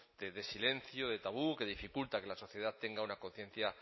de silencio de tabú que dificulta que la sociedad tenga una conciencia